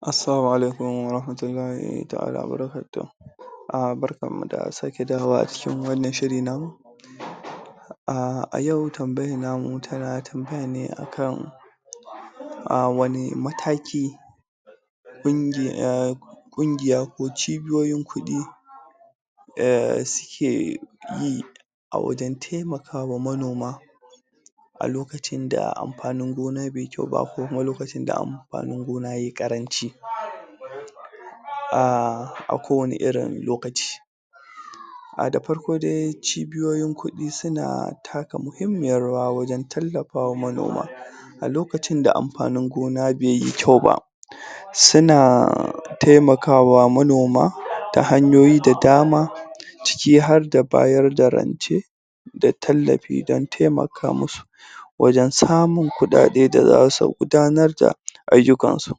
Assalamu Alaikum wa rahmatullahi taʼala wa baraka tuhu. um Barkanmu da sake dawowa acikin wannan shiri namu. um a yau tambayan namu tana tambaya ne akan um wani mataki kungiya ko cibiyoyin kuɗi um suke yi a wajen taimaka wa manoma a lokacin da amfanin gona bai yi kyau ba ko kuma a lokacin da amfanin gona yayi ƙaranci um a ko wani irin lokaci. Da farko dai cibiyoyin kuɗi suna taka muhimmiyar rawa wajen tallafa wa manoma. A lokacin da amfanin gona bai yi kyau ba suna taimakawa manoma ta hanyoyi da dama ciki harda bayar da rance da tallafi don taimaka musu wajen samun kuɗaɗe da zasu gudanar da ayyukan su.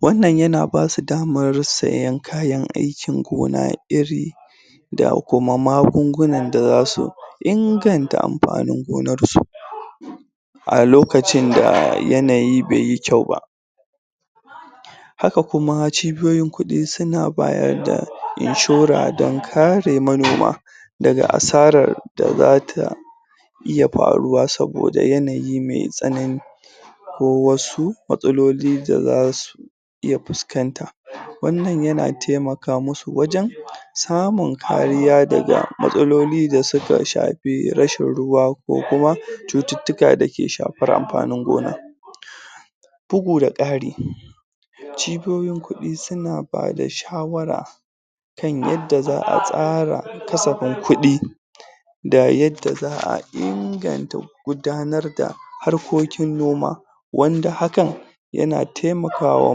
Wannan yana basu daman sayan kayan aikin gona, iri da kuma magungunan da zasu inganta amfanin gonar su a lokacin da yanayi baiyi kyau ba. Haka kuma cibiyoyin kuɗi su na bayar da inshora dan kare manoma daga asarar da zata iya faruwa saboda yanayi mai tsanani ko wasu matsaloli da za su iya fuskanta. Wannan yana taimaka musu wajen samun kariya daga matsaloli da suka shafi rashin ruwa ko kuma cututtuka da suka shafi amfanin gona. Bugu da ƙari cibiyoyin kuɗi suna bada shawara kan yanda zaʼa tsara kasafin kuɗi da yanda zaʼa inganta gudanar da harkokin noma wanda hakan yana taimaka wa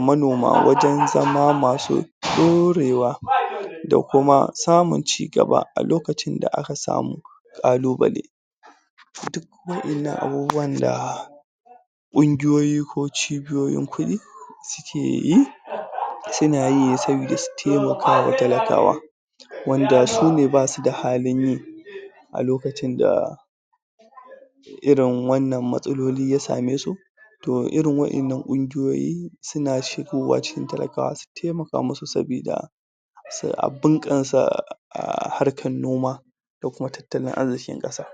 monama wajen zama masu ɗorewa da kuma samun cigaba a lokacin da aka samu ƙalubale. Duk waɗannan abubuwan da ƙungiyoyi ko cibiyoyin kudi sukeyi suna yi ne saboda su taimaka wa talakawa wanda su ne basu da halin yi a lokacin da irin wannan matsaloli ya same su. Toh irin wannan ƙungiyoyin suna shigowa cikin talakawa su taimaka musu saboda su bunƙasa um harkar noma da kuma tattalin arzikin kasa.